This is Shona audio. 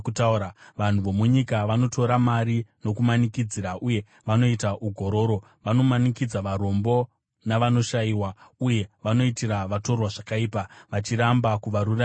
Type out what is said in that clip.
Vanhu vomunyika vanotora mari nokumanikidzira uye vanoita ugororo; vanomanikidza varombo navanoshayiwa uye vanoitira vatorwa zvakaipa, vachiramba kuvaruramisira.